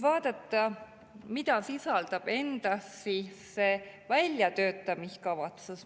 Vaatame, mida sisaldab endas see väljatöötamiskavatsus.